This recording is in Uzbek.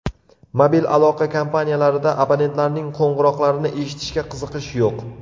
Mobil aloqa kompaniyalarida abonentlarning qo‘ng‘iroqlarini eshitishga qiziqish yo‘q.